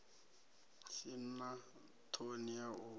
si na ṱhoni ya u